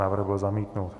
Návrh byl zamítnut.